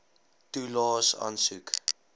toelaes aansoek